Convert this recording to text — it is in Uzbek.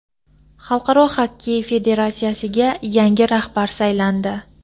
Xalqaro xokkey federatsiyasiga yangi rahbar saylandi.